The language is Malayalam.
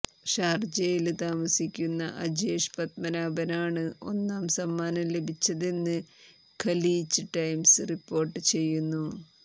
ഷാര്ജയില് താമസിക്കുന്ന അജേഷ് പത്മനാഭനാണ് ഒന്നാം സമ്മാനം ലഭിച്ചതെന്ന് ഖലീജ് ടൈംസ് റിപ്പോര്ട്ട് ചെയ്യുന്നു